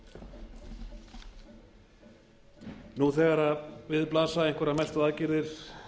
frú forseti nú þegar við blasa einhverjar mestu aðgerðir